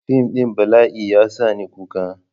Fim ɗin bala'i ya sa ni kuka.